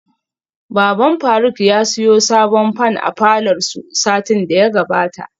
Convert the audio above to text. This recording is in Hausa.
Baban faruk ya siyo sabon fan a falor su satin daya gabata